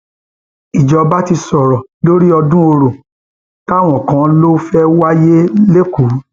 ìjọba ti sọrọ lórí ọdún ọrọ táwọn kan lọ fẹẹ wáyé lẹkọọ